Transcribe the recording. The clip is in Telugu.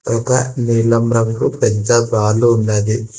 ఇక నీలం రంగు పెద్ద బాల్ ఉన్నది.